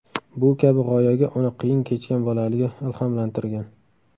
Bu kabi g‘oyaga uni qiyin kechgan bolaligi ilhomlantirgan.